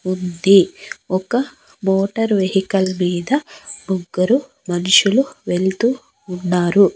ఉంది ఒక motor vehicle మీద ముగ్గురు మనుషులు వెళ్తూ ఉన్నారు.